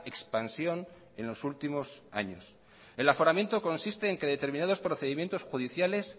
expansión en los últimos años el aforamiento consiste en que determinados procedimientos judiciales